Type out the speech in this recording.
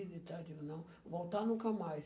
e tal, eu digo, não, voltar nunca mais.